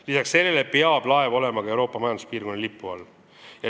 Lisaks sellele peab ka laev olema Euroopa Majanduspiirkonna riigi lipu all.